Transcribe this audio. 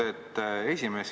Aitäh, hea esimees!